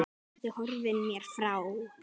Núna ertu horfin mér frá.